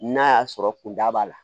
N'a y'a sɔrɔ kunda b'a la